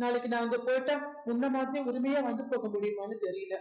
நாளைக்கு நான் அங்க போயிட்டா முன்ன மாதிரி உரிமையா வந்து போக முடியுமான்னு தெரியலே